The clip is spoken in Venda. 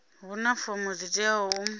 huna fomo dzi teaho u